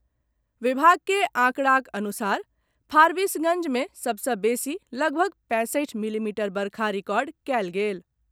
विभाग के आंकड़ाक अनुसार फारबिसगंज मे सबसॅ बेसी लगभग पैंसठि मिलीमीटर वर्षा रिकॉर्ड कयल गेल।